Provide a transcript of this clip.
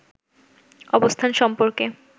অবস্থান সম্পর্কে